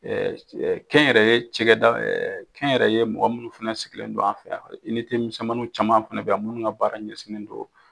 Kɛnyɛrɛye cɛkɛda kɛnyɛrɛye mɔgɔ minnu fɛnɛ sigilen don an fɛ yan minsɛnmanin caman fɛnɛ bɛ yan minnu ka baara ɲɛsinnen don